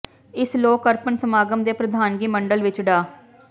ਇਸ ਲੋਕ ਅਰਪਣ ਸਮਾਗਮ ਦੇ ਪ੍ਰਧਾਨਗੀ ਮੰਡਲ ਵਿੱਚ ਡਾ